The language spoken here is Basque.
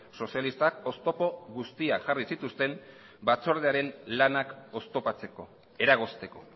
sozialistak oztopo guztiak jarri zituzten batzordearen lanak oztopatzeko eragozteko